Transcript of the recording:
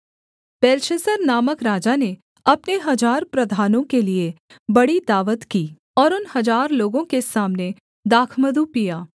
Belshazzar नामक राजा ने अपने हजार प्रधानों के लिये बड़ी दावत की और उन हजार लोगों के सामने दाखमधु पिया